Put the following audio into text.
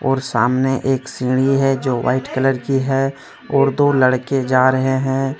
और सामने एक सीढी है जो वाइट कलर की है और दो लड़के जा रहे हैं।